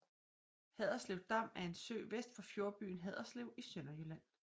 Haderslev Dam er en sø vest for fjordbyen Haderslev i Sønderjylland